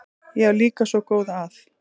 Ég á líka svo góða að.